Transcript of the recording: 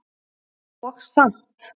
Og samt.